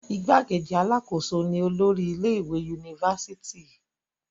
igbákejì alákòóso ni olórí ilé ìwé unifásitì